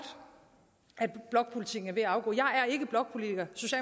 at blokpolitikken er ved at afgå